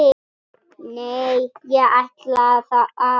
Nei, ég ætla að.